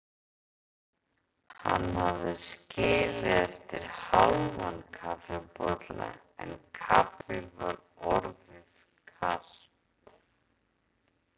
Hann hafði skilið eftir hálfan kaffibolla en kaffið var orðið kalt.